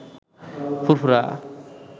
ফুরফুরা